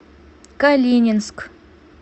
калининск